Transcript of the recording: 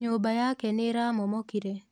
nyũmba yake nĩramomokire